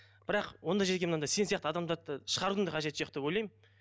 бірақ ондай жерге мынандай сен сияқты адамдарды шығарудың да қажеті жоқ деп ойлаймын